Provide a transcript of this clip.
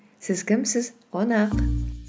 сіз кімсіз қонақ